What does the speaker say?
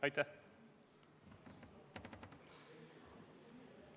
Aitäh!